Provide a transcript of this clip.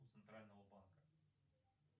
центрального банка